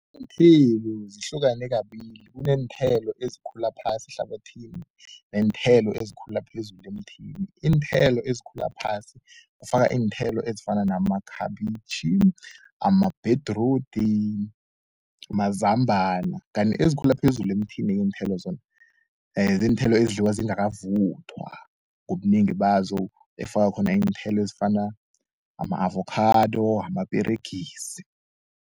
Iinthelo zihlukane kabili kuneenthelo ezikhula phasi ehlabathini neenthelo ezikhula phezulu emthini. Iinthelo ezikhula phasi kufaka iinthelo ezifana namakhabitjhi, amabhedrudi, mazambana. Kanti ezikhula phezulu emthini-ke iinthelo zona ziinthelo ezidliwa zingakavuthwa ngobunengi bazo ezifaka khona iinthelo ezifana ama-avokhado, amaperegisi.